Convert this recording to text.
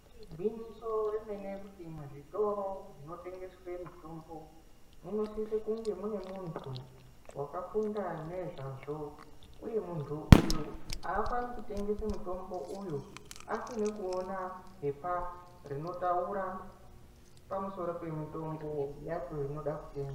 Igwinyiso remene kuti muzvitoro zvinotengeswe mitombo, munosise kunge mune muntu, wakafunda nezvazvo, uye muntu uyu aafani kutengese mutombo uyu, asine kuona phepha rinotaura pamusoro pemitombo yacho inoda kutengwa.